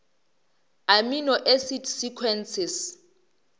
amino acid sequences